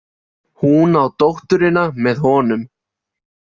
Hún á dótturina með honum.